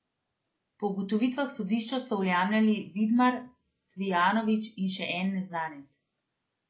Po ugotovitvah sodišča so vlamljali Vidmar, Cvijanović in še en neznanec.